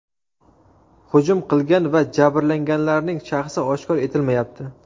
Hujum qilgan va jabrlanganlarning shaxsi oshkor etilmayapti.